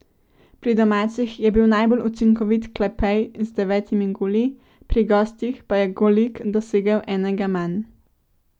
Pri domačih je bil najbolj učinkovit Klepej z devetimi goli, pri gostih pa je Golik dosegel enega manj.